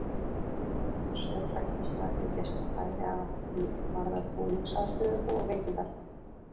Þar er stórbætt aðstaða fyrir gesti, bæði að því er varðar búningsaðstöðu og veitingar.